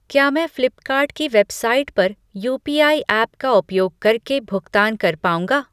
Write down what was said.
क्या मैं फ़्लिपकार्ट की वेबसाइट पर यूपीआई ऐप का उपयोग करके भुगतान कर पाऊँगा?